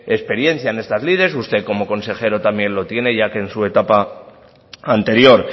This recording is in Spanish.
experiencia en estas usted como consejero también lo tiene ya que en su etapa anterior